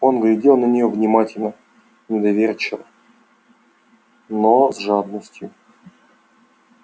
он глядел на нее внимательно недоверчиво но с жадностью